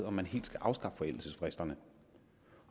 om man helt skal afskaffe forældelsesfristerne